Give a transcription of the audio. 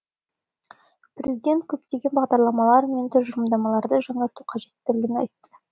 президент көптеген бағдарламалар мен тұжырымдамаларды жаңарту қажеттігін айтты